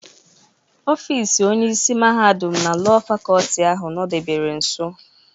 Ọfis Onyeisi Mahadum na Lọọ Fakọlti ahụ nọdebere nso.